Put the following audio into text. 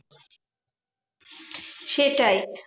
সেটাই